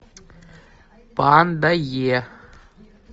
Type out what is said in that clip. панда е